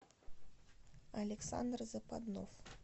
александр западнов